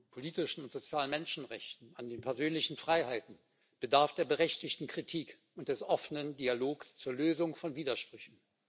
politischen und sozialen Menschenrechten, an den persönlichen Freiheiten bedarf der berechtigten Kritik und des offenen Dialogs zur Lösung von Widersprüchen.